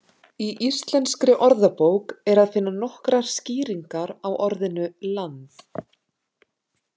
Í Íslenskri orðabók er að finna nokkrar skýringar á orðinu land.